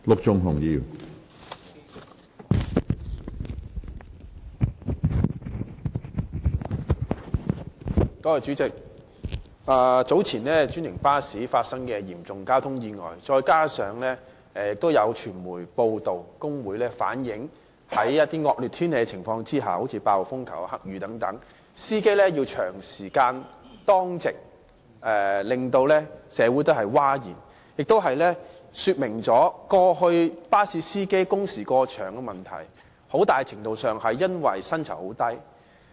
主席，早前專營巴士發生嚴重交通意外，再加上有傳媒報道，指工會反映司機在惡劣天氣之下，例如8號風球、黑雨等情況下要長時間當值，令社會譁然，這也說明過去巴士司機工時過長的問題，很大程度上是因為薪酬很低。